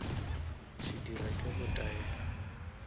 se dira ke go taela